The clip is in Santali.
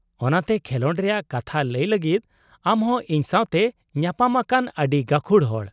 -ᱚᱱᱟᱛᱮ, ᱠᱷᱮᱞᱚᱸᱰ ᱨᱮᱭᱟᱜ ᱠᱟᱛᱷᱟ ᱞᱟᱹᱭ ᱞᱟᱹᱜᱤᱫ ᱟᱢ ᱦᱚᱸ ᱤᱧ ᱥᱟᱶᱛᱮ ᱧᱟᱯᱟᱢ ᱟᱠᱟᱱ ᱟᱹᱰᱤ ᱜᱟᱹᱠᱷᱩᱲ ᱦᱚᱲ ᱾